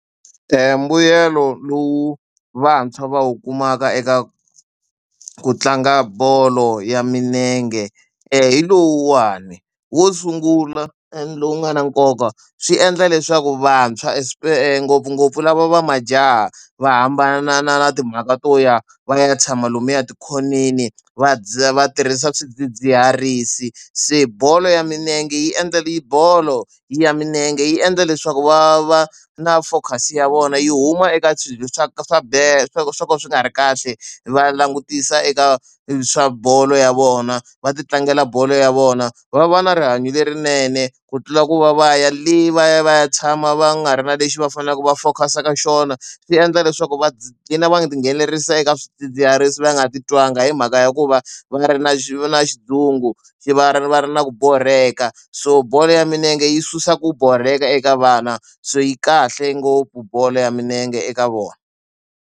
Mbuyelo lowu vantshwa va wu kumaka eka ku tlanga bolo ya milenge hi lowuwani. Wo sungula lowu nga na nkoka swi endla leswaku vantshwa ngopfungopfu lava va majaha va hambana na na na timhaka to ya va ya tshama lomuya etikhoneni va va tirhisa swidzidziharisi. Se bolo ya milenge yi endla bolo ya milenge yi endla leswaku va va na focus-i ya vona yi huma eka swilo swa swa swo ka swo ka swi nga ri kahle, va langutisa eka swa bolo ya vona. Va ti tlangela bolo ya vona, va va na rihanyo lerinene ku tlula ku va va ya le va ya va ya tshama va nga ri na lexi va faneleke va focus-a ka xona. Swi endla leswaku va qhina va ti nghenelerisa eka swidzidziharisi va nga titwangi hi mhaka hikuva ya va ri na va na xilungu, va ri va ri na ku borheka. So bolo ya milenge yi susa ku borheka eka vana so yi kahle ngopfu bolo ya milenge eka vona.